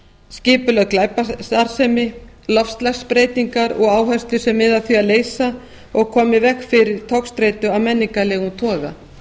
skipulögð glæpastarfsemi loftslagsbreytingar og áhættu sem miðar að því að leysa og koma í veg fyrir togstreitu af menningarlegum toga